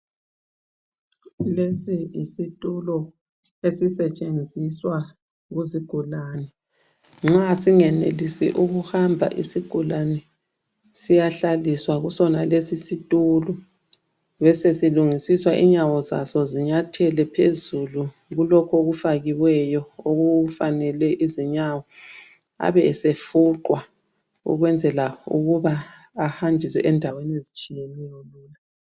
Lesi yisitulo esisetshenziswa kuzigulane. Nxa singenelisi ukuhamba isigulani, siyahlaliswa kusonalesi situlo, basesilungisiswa inyawo zaso zinyathele phezulu kulokh' okufakiweyo okufanele izinyawo abe esefuqwa ukwenzela ukuba ahanjiswe endaweni ezitshiyeneyo.